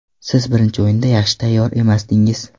Siz birinchi o‘yinda yaxshi tayyor emasdingiz.